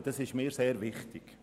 Das ist mir sehr wichtig.